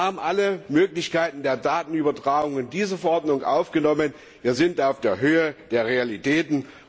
Wir haben alle Möglichkeiten der Datenübertragung in diese Verordnung aufgenommen, wir sind auf der Höhe der Realitäten.